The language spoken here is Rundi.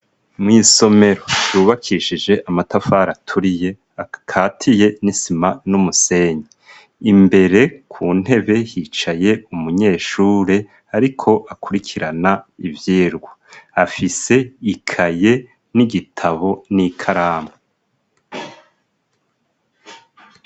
Mu isomero yubakishije amatafari aturiye akatiye n'isima n'umusenyi. Imbere ku ntebe hicaye umunyeshure ariko akurikirana ivyirwa afise ikaye n'igitabo n'ikaramu.